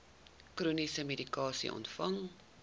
chroniese medikasie ontvang